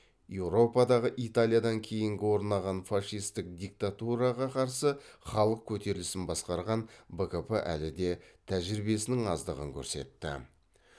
еуропада италиядан кейінгі орнаған фашистік диктатураға қарсы халық көтерілісін басқарған бкп әлі де тәжірибесінің аздығын көрсетті